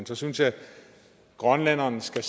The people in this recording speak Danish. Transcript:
så synes jeg at grønlænderne selv